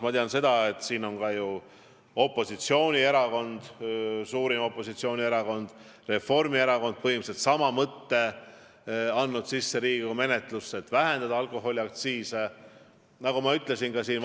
Ma tean, et ka suurim opositsioonierakond Reformierakond on põhimõtteliselt sama sisuga eelnõu Riigikogu menetlusse andnud, nemadki soovivad vähendada alkoholiaktsiise.